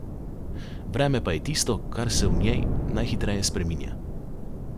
Vreme pa je tisto, kar se v njej najhitreje spreminja.